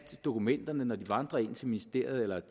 dokumenterne vandrer ind til ministeriet